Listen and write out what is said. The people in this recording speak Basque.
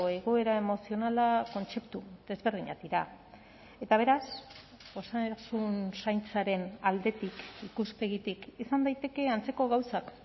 egoera emozionala kontzeptu desberdinak dira eta beraz osasun zaintzaren aldetik ikuspegitik izan daiteke antzeko gauzak